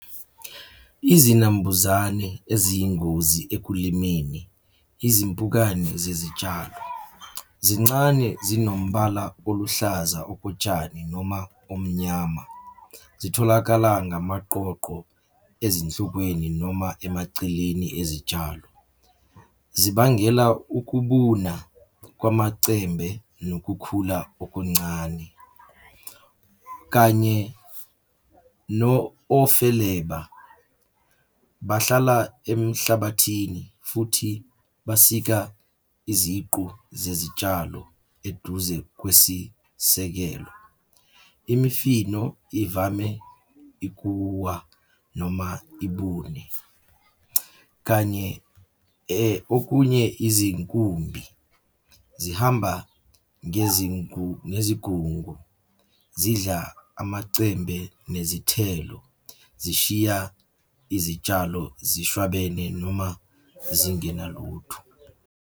Izinambuzane eziyingozi ekulimeni izimpukane zezitshalo. Zincane, zinomubala oluhlaza okotshani noma omnyama. Zitholakala ngamaqoqo ezinhlokweni noma emaceleni ezitshalo. zibangela ukubuna kwamacembe nokukhula okuncane, kanye ofeleba Bahlala emhlabathini futhi basika iziqu zezitshalo eduze kwesisekelo. Imifino ivame ikuwa noma ibune, kanye okunye izinkumbi, zihamba ngezigungu, zidla amacembe nezithelo, zishiya izitshalo zishwabane noma zingenalutho.